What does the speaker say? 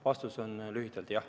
Vastus on lühike: jah.